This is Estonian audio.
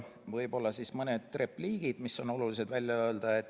Võib-olla mõned repliigid, mis on olulised välja tuua.